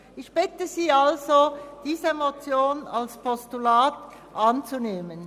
Ich bitte Sie also, diese Motion als Postulat anzunehmen.